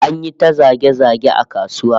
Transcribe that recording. An yi ta zage-zage a kasuwa